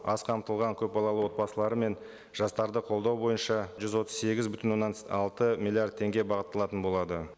аз қамтылған көпбалалы отбасылар мен жастарды қолдау бойынша жүз отыз сегіз бүтін оннан алты миллиард теңге бағытталатын болады